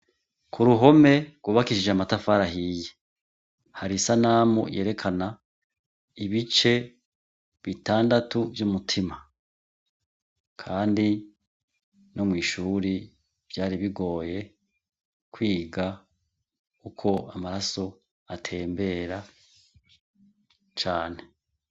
Ku ruhome rwubakishije amatafarahiye hari isa namu yerekana ibice bitandatu vy'umutima, kandi no mw'ishuri vyari bigoye kwiga uko amaraso atembera cane.